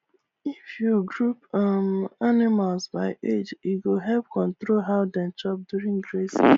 if you group um animals by age e go help control how dem chop during grazing